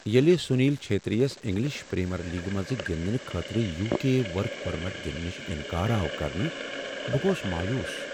ییٚلہ سنیل چھیتری یس English premier لیگِہ منٛز گندنہٕ خٲطرٕ یوکے ورک پرمٹ دنہٕ نش انکار آو کرنہٕ بہٕ گوس مایوس۔